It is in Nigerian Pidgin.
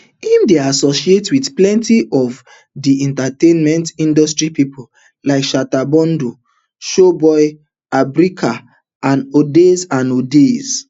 im dey associated wit plenty of di entertainment industry pipo like shatta bundle showboy abutrica and odas and odas